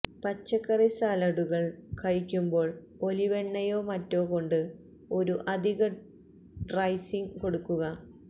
പച്ചക്കറി സാലഡുകള് കഴിക്കുമ്പോള് ഒലിവെണ്ണയോ മറ്റോ കൊണ്ട് ഒരു അധിക ഡ്രെസ്സിങ്ങ് കൊടുക്കുക